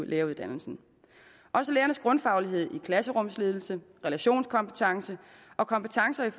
læreruddannelsen også lærernes grundfaglighed i klasserumsledelse relationskompetencer og kompetencer i